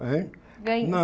Hein